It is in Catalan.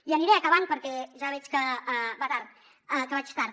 i aniré acabant perquè ja veig que vaig tard